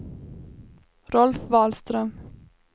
Rolf Wahlström